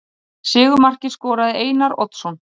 Sigurmarkið skoraði Einar Oddsson.